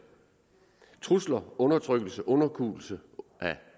trusler undertrykkelse og underkuelse af